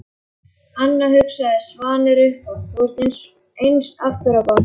Anna, hugsaði Svanur upphátt, þú ert eins aftur á bak.